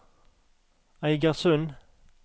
Eigersund